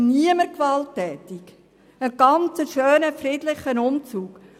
Niemand war gewalttätig, es war ein schöner, friedlicher Umzug.